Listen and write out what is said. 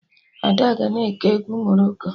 Ada ga-na eke egwu Morocco